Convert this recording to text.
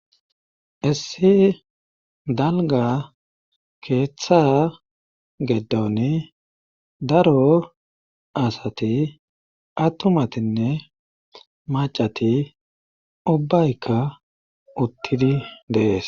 issi dalga keeththa geddoni daro asati attumatinne maccati ubbaykka uttidi dees.